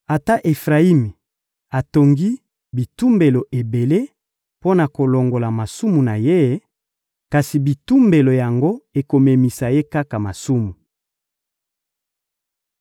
Ata Efrayimi atongi bitumbelo ebele mpo na kolongola masumu na ye, kasi bitumbelo yango ekomemisa ye kaka masumu.